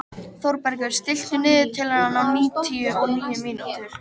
Þórbergur, stilltu niðurteljara á níutíu og níu mínútur.